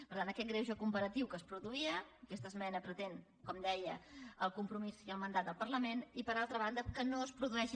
per tant aquest greuge comparatiu que es produïa aquesta esmena pretén com deia el compromís i el mandat del parlament i per altra banda que no es produeixi